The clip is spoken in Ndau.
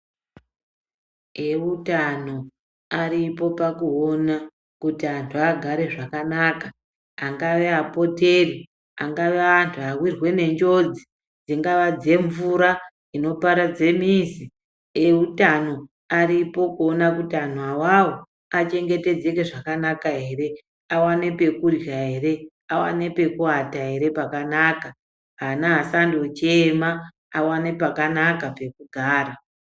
Eutano aripo pakuona kuti antu agare zvakanaka. Angave apoteri, angave anhu awirwe nenjodzi dzingava dzemvura inoparadze mizi. Eutano aripo kuona kuti anhu awawo achengetedzeke zvakanaka here, awane pekurya here, awane pekuata here. Ana asandochema, awane pakanaka pekugara.